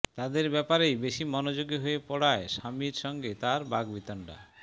তাদের ব্যাপারেই বেশি মনোযোগী হয়ে পড়ায় স্বামীর সঙ্গে তার বাগ্বিতণ্ডা